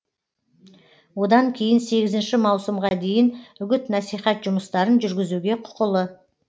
одан кейін сегізінші маусымға дейін үгіт насихат жұмыстарын жүргізуге құқылы